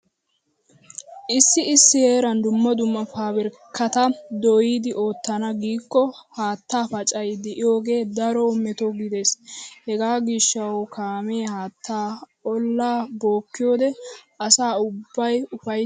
Issi issi heeran dumma dumma paabirkkata dooyidi oottana giikko haattaa pacay de'iyogee daro meto gidiis. Hegaa gishshawu kaamee haattaa ollaa bookkiyode asa ubbay ufayttiiddi xeellees.